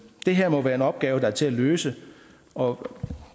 det her må være en opgave der er til at løse og